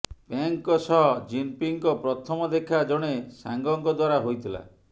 ପେଙ୍ଗଙ୍କ ସହ ଜିନପିଙ୍ଗଙ୍କ ପ୍ରଥମ ଦେଖା ଜଣେ ସାଙ୍ଗଙ୍କ ଦ୍ୱାରା ହୋଇଥିଲା